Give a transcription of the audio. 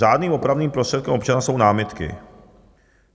Řádným opravným prostředkem občana jsou námitky.